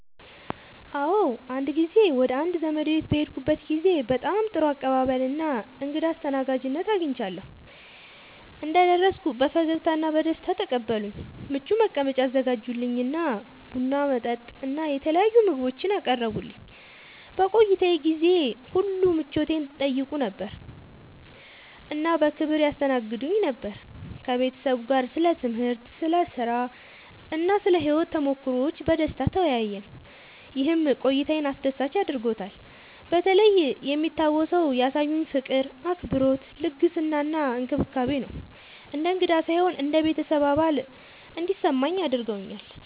አዎ፣ አንድ ጊዜ ወደ አንድ ዘመዴ ቤት በሄድኩበት ጊዜ በጣም ጥሩ አቀባበል እና እንግዳ አስተናጋጅነት አግኝቻለሁ። እንደደረስኩ በፈገግታ እና በደስታ ተቀበሉኝ፣ ምቹ መቀመጫ አዘጋጁልኝ እና ቡና፣ መጠጥ እና የተለያዩ ምግቦችን አቀረቡልኝ። በቆይታዬ ጊዜ ሁሉ ምቾቴን ይጠይቁ ነበር እና በክብር ያስተናግዱኝ ነበር። ከቤተሰቡ ጋር ስለ ትምህርት፣ ስለ ሥራ እና ስለ ሕይወት ተሞክሮዎች በደስታ ተወያየን፣ ይህም ቆይታዬን አስደሳች አድርጎታልበተለይ የሚታወሰው ያሳዩኝ ፍቅር፣ አክብሮት፣ ልግስና እና እንክብካቤ ነው። እንደ እንግዳ ሳይሆን እንደ ቤተሰብ አባል እንዲሰማኝ አድርገውኛል።